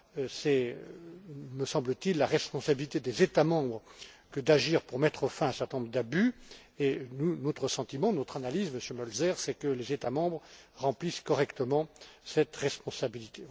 C'est, me semble t il, la responsabilité des États membres que d'agir pour mettre fin à un certain nombre d'abus et notre sentiment, notre analyse, Monsieur Mölzer, c'est que les États membres remplissent correctement cette responsabilité.